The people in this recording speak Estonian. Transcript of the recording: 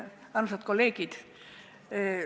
Armsad kolleegid!